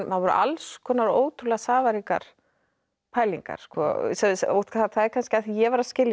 voru alls konar ótrúlega safaríkar pælingar það er kannski af því ég var að skilja þá